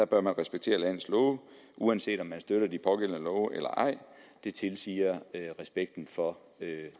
bør man respektere landets love uanset om man støtter de pågældende love eller ej det tilsiger respekten for